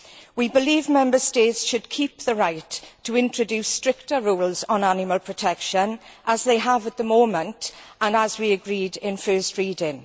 We believe Member States should keep the right to introduce stricter rules on animal protection, as they have at the moment and as we agreed at first reading.